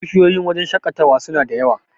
bishiyoyin wajen shaƙatawa suna da yawa